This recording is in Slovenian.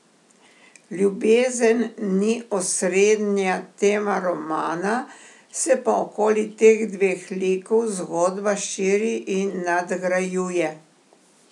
Ljubezen ni osrednja tema romana, se pa okoli teh dveh likov zgodba širi in nadgrajuje.